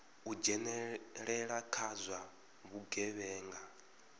u dzhenelela kha zwa vhugevhenga